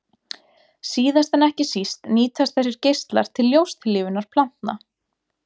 Síðast en ekki síst nýtast þessir geislar til ljóstillífunar plantna.